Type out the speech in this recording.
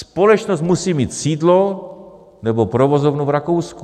Společnost musí mít sídlo nebo provozovnu v Rakousku.